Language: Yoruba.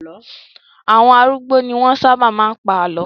Àwọn arúgbó ni wọ́n sábà máa ń pa àlọ́.